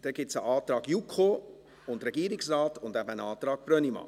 Es gibt einen Antrag JuKo und Regierungsrat und eben einen Antrag Brönnimann.